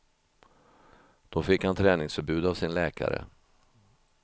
Då fick han träningsförbud av sin läkare.